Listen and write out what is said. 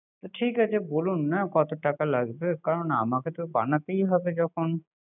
ঠিক আছে বলুন না কত টাকা লাগবে। কারন বানাতেই হবে যখন